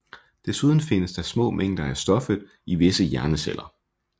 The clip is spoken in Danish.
Desuden findes der små mængder af stoffet i visse hjerneceller